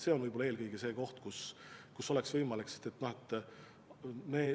See on võib-olla eelkõige see abinõu, mida oleks võimalik kasutada.